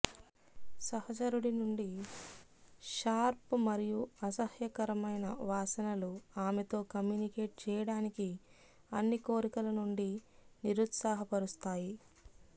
సహచరుడి నుండి షార్ప్ మరియు అసహ్యకరమైన వాసనలు ఆమెతో కమ్యూనికేట్ చేయడానికి అన్ని కోరికల నుండి నిరుత్సాహపరుస్తాయి